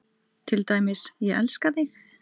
Til dæmis: Ég elska þig.